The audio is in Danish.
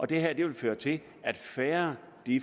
det her vil føre til at færre